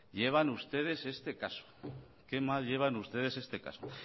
llevan ustedes este caso que mal llevan ustedes este caso